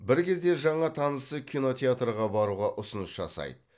бір кезде жаңа танысы кинотеатрға баруға ұсыныс жасайды